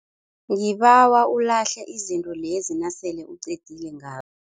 Ngibawa ulahle izinto lezi nasele uqedile ngazo.